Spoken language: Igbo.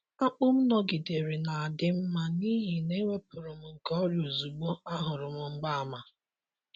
Akpụ m nọgidere na-adị mma n’ihi na ewepụrụ m nke ọrịa ozugbo ahụrụ m mgbaàmà.